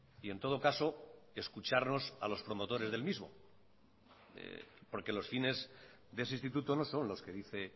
y en todo caso escucharlos a los promotores del mismo porque los fines de ese instituto no son los que dice